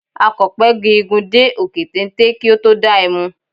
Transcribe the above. Akọ̀pẹ gun igi dé òkè téńté kí ó tó da ẹmu.